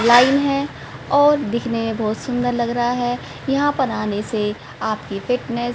लाई हैं और दिखने बहोत सुंदर लग रहा हैं यहां पर आने से आपके पेट में--